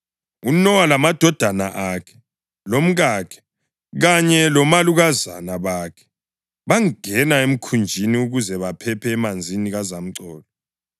UNowa lamadodana akhe, lomkakhe kanye labomalukazana bakhe bangena emkhunjini ukuze baphephe emanzini kazamcolo.